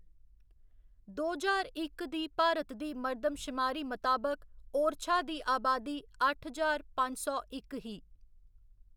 दो ज्हार इक दी भारत दी मरदमशमारी मताबक, ओरछा दी अबादी अट्ठ ज्हार पंज सौ इक ही।